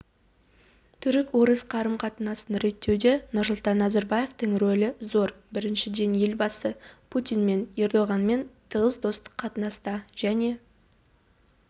түрік-орыс қарым-қатынасын реттеуде нұрсұлтан назарбаевтың рөлі зор біріншіден елбасы путин және ердоғанмен тығыз достық қатынаста және